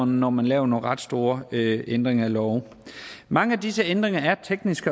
når man laver nogle ret store ændringer i love mange af disse ændringer er af teknisk